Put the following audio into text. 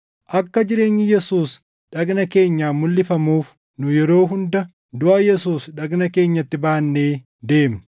Akka jireenyi Yesuus dhagna keenyaan mulʼifamuuf nu yeroo hunda duʼa Yesuus dhagna keenyatti baannee deemna.